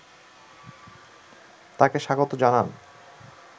তাকে স্বাগত জানান